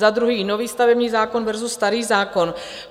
Za druhé, nový stavební zákon versus starý zákon.